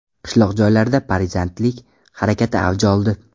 Qishloq joylarda partizanlik harakati avj oldi.